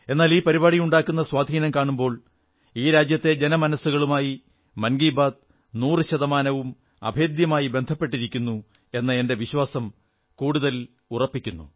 എന്നാൽ ഈ പരിപാടിയുണ്ടാക്കുന്ന സ്വാധീനം കാണുമ്പോൾ ഈ രാജ്യത്തെ ജനമനസ്സുകളുമായി മൻ കീ ബാത്ത് നൂറു ശതമാനവും അഭേദ്യമായി ബന്ധിക്കപ്പെട്ടിരിക്കുന്നു എന്ന എന്റെ വിശ്വാസം കൂടുതൽ ദൃഢപ്പെടുന്നു